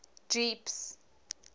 jeepies